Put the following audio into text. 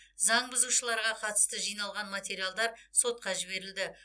заң бұзушыларға қатысты жиналған материалдар сотқа жіберілді